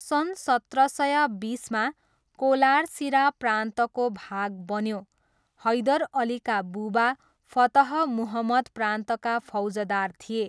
सन् सत्र सय बिसमा, कोलार सिरा प्रान्तको भाग बन्यो, हैदर अलीका बुबा फतह मुहम्मद प्रान्तका फौजदार थिए।